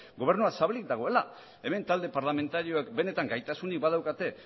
gobernua zabalik dagoela hemen talde parlamentarioek benetan gaitasunik badaukate